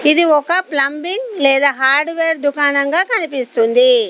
ఇది ఒక ప్లంబింగ్ లేదా హార్డ్వేర్ దుకాణంగా కనిపిస్తుంది.